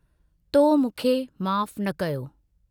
तो मूंखे माफ़ न कयो